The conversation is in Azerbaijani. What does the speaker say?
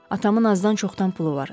Atamın azdan-çoxdan pulu var.